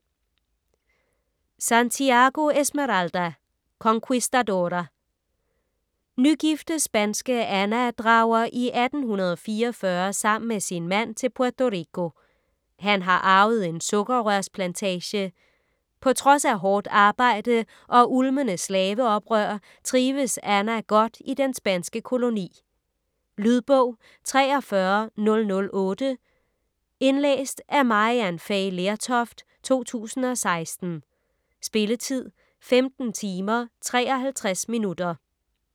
Santiago, Esmeralda: Conquistadora Nygifte spanske Ana drager i 1844 sammen med sin mand til Puerto Rico. Han har arvet en sukkerrørsplantage. På trods af hårdt arbejde og ulmende slaveoprør trives Ana godt i den spanske koloni. Lydbog 43008 Indlæst af Maryann Fay Lertoft, 2016. Spilletid: 15 timer, 53 minutter.